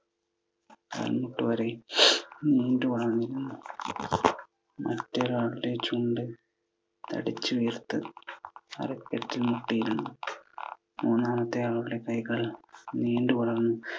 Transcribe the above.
കാൽമുട്ട് വരെ നീണ്ടു വളർന്നു. മറ്റൊരാളുടെ ചുണ്ട് തടിച്ചു വീർത്തു അരക്കെട്ടിൽ മുട്ടിയിരുന്നു. മൂന്നാമത്തെ ആൾടെ കൈകൾ നീണ്ടു വളർന്നു.